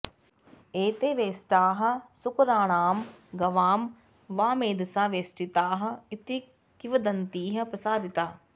एते वेष्टाः सूकराणां गवां वा मेधसा वेष्टिताः इति किंवदन्तिः प्रसारिता